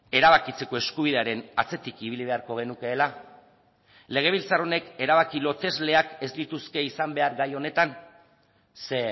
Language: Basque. erabakitzeko eskubidearen atzetik ibili beharko genukeela legebiltzar honek erabaki lotesleak ez lituzke izan behar gai honetan ze